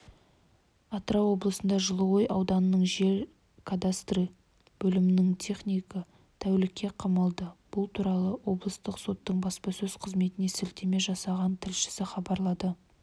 тырау облысында жылыой аудандық жер кадастры бөлімінің технигі тәулікке қамалды бұл туралы облыстық соттың баспасөз қызметіне сілтеме жасаған тілшісі хабарлады